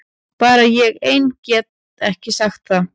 Bara ég ein gat sagt það.